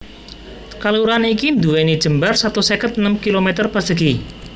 Kalurahan iki nduwèni jembar satus seket enem km persegi